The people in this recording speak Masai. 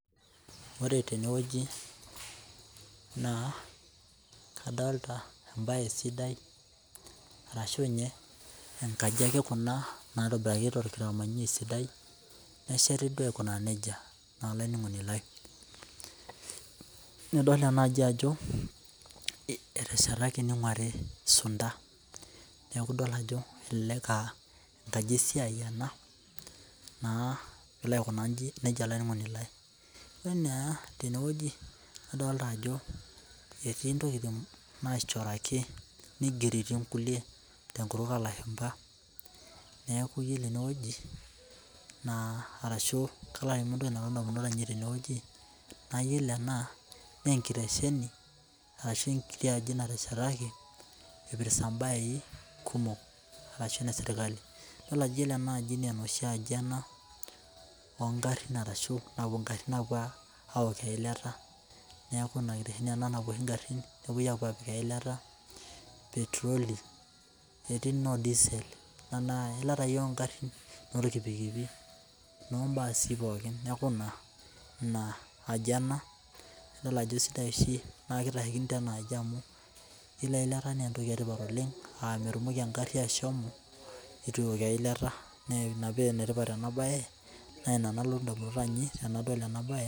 Ore teneweji naa kadolita embaye sidai arashu ninye nkaji ake kuna naitobiraki temanyai sidai, nesheti duo aikunaa neja olainaningoni lai, nidol enaaji ajo eteshetaki neinguari sunta, neeku idol ajo elelek aa enkaji esiai naa, naiko inji olaininingoni lai, idol naa teneweji idolita ajo etii ntokitin naishoraki, neigeroki inkule tenkutuk oolashumba, naaku iyolo eneweji naa arashu iyolo entoki nalotu indamunot ainei teneweji, naa iyolo enaa naa enkiresheni ashu enkitii aji nateshetaki eipirta embaye kumok ashu ne sirkali, idol ajo ore enaaji ne sirkali nkaji ana ongarrin arashu napuo ingarrin aapo aloki ilaita, neaku ina oitoi ina nepoi aapo aokie ilata petroli, etii noo disel, anaa ilata ake iyie onarrin olpikipikin, ombaasi pooki naaku ina aji ana ajo esidai oshi rankii le enaaji amu iyolo ilata naa entoki etipat oleng aanyiki engarrri ashomo eitu ipiki eilata, naa ina pee enetipat ena baye, naa ina nalotu indmunot ainei tenadol ena baye.